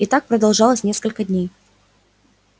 и так продолжалось несколько дней